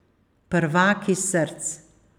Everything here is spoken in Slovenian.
Prvaki src.